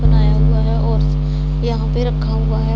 बनाया हुआ है और यहां पे रखा हुआ है।